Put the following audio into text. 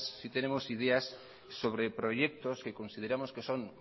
sí tenemos ideas sobre proyectos que consideramos que son